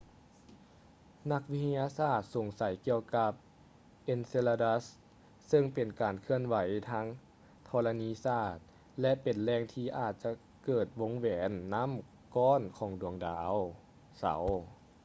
ນັກວິທະຍາສາດສົງໄສກ່ຽວກັບ enceladus ເຊິ່ງເປັນການເຄື່ອນໄຫວທາງທໍລະນີສາດ ແລະ ເປັນແຫຼ່ງທີ່ອາດຈະເກີດວົງແຫວນນໍ້າກ້ອນຂອງດາວເສົາ